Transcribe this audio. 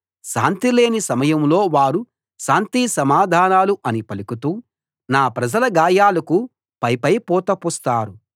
శాంతి లేని సమయంలో వారు శాంతి సమాధానాలు శాంతి సమాధానాలు అని పలుకుతూ నా ప్రజల గాయాలకు పైపై పూత పూస్తారు